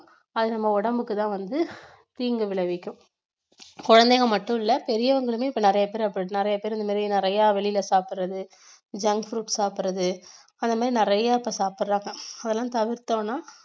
அது நம்ம உடம்புக்குதான் வந்து தீங்கு விளைவிக்கும் குழந்தைங்க மட்டுமில்லை பெரியவங்களுமே இப்ப நிறைய பேர் அப்படி நிறைய பேர் இது மாதிரி நிறைய வெளியில சாப்பிடறது junk food சாப்பிடறது அதே மாதிரி நிறைய இப்ப சாப்பிடறாங்க அதெல்லாம் தவிர்த்தோம்னா